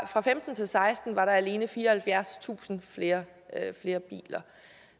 og femten til seksten var der alene fireoghalvfjerdstusind flere biler